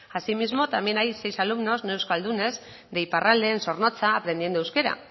asimismo también hay seis alumnos no euskaldunes de iparralde en zornotza aprendiendo euskera